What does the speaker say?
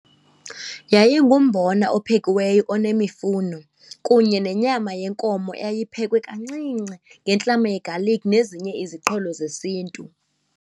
Yayingumbona ophekiweyo onemifuno kunye nenyama yenkomo eyayiphekwe kancinci ngentlama ye-garlic nezinye iziqholo zesiNtu.